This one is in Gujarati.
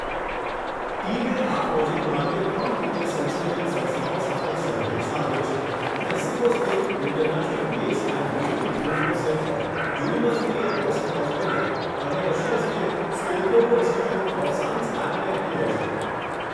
ટીમે આ પ્રોજેક્ટ માટે ત્રણ મુખ્ય સંશોધન સંસ્થાઓ સાથે સહયોગ સાધ્યો છે મેક્સિકો સ્થિત international maize and wheat improvement centre, university of western Australia, અને રશિયા સ્થિત Skolkovo institute of science and technology.